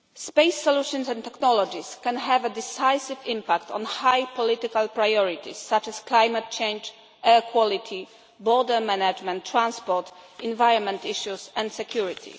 Space solutions and technologies can have a decisive impact on high political priorities such as climate change, air quality, border management, transport, environment issues and security.